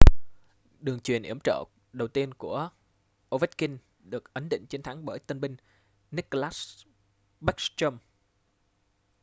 đường chuyền yểm trợ đầu tiên của ovechkin được ấn định chiến thắng bởi tân binh nicklas backstrom